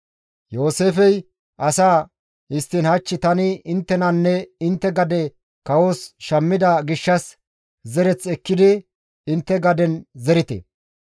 Yooseefey asaa, «Histtiin hach tani inttenanne intte gade kawos shammida gishshas zereth ekkidi intte gaden gaden zerite.